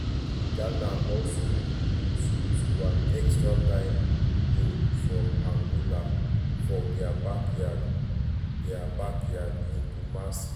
ghana also bin lose to an extra time goal from angola for dia backyard dia backyard in kumasi.